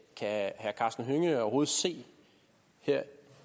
herre karsten hønge overhovedet se